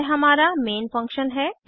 यह हमारा main function है